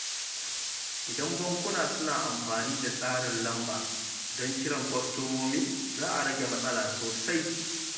Idan bankuna suna amfani da tsarin lamba don kiran kwastomomi, za a rage matsala sosai.